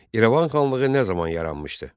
İrəvan xanlığı nə zaman yaranmışdı?